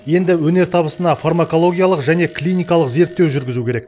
енді өнертабысына фармакологиялық және клиникалық зерттеу жүргізу керек